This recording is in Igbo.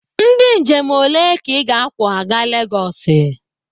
Ndị njem ole ka ị ga-akwọ aga Legosi?